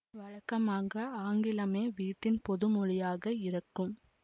வழக்கமாக ஆங்கிலமே வீட்டின் பொது மொழியாக இருக்கும்